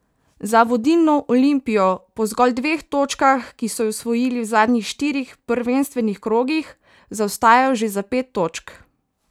Za vodilno Olimpijo po zgolj dveh točkah, ki so ju osvojili v zadnjih štirih prvenstvenih krogih, zaostajajo že za pet točk.